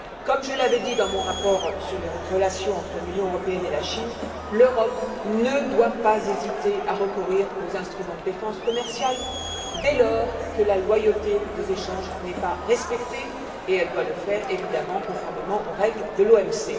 Comme je l'avais dit dans mon rapport sur les relations entre l'Union européenne et la Chine, l'Europe ne doit pas hésiter à recourir aux instruments de défense commerciale dès lors que la loyauté des échanges n'est pas respectée, et elle doit le faire, évidemment, conformément aux règles de l'OMC.